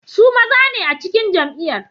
Su maza ne a cikin jam'iyyar.